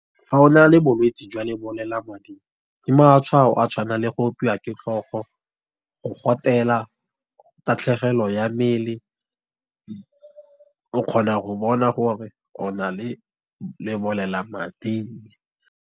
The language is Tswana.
Fa o na le bolwetsi jwa lebolelamading, ke matshwao a tshwanang le go opiwa ke tlhogo, go gotela, tatlhegelo ya mmele, o kgona go bona gore o na le lebolelamading.